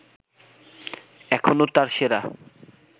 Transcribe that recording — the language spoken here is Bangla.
এখনো তার সেরা